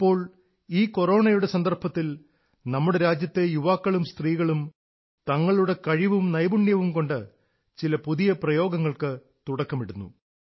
ഇപ്പോൾ ഈ കൊറോണയുടെ സന്ദർഭത്തിൽ നമ്മുടെ രാജ്യത്തെ യുവാക്കളും സ്ത്രീകളും തങ്ങളുടെ കഴിവും നൈപുണ്യവും കൊണ്ട് ചില പുതിയ പ്രയോഗങ്ങൾക്ക് തുടക്കമിടുന്നു